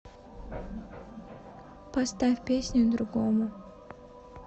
поставь песню другому